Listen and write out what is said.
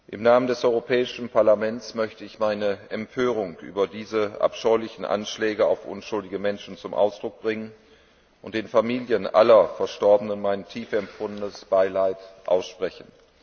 Im Namen des Europäischen Parlaments möchte ich meine Empörung über diese abscheulichen Anschläge auf unschuldige Menschen zum Ausdruck bringen und den Familien aller Verstorbenen mein tief empfundenes Beileid aussprechen.